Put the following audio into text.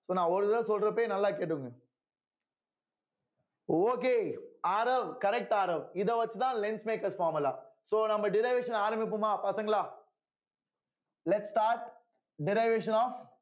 so நான் ஒரு தடவ சொல்றப்பயே நல்லா கேட்டுக்கோங்க okay ஆரவ் correct ஆரவ் இத வச்சுதான் lens makers formula so நம்ம derivation ஆரம்பிப்போமா பசங்களா lets start derivation of